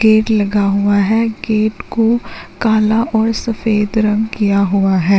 Gate लगा हुआ है गेट को काला और सफेद रंग किया हुआ है।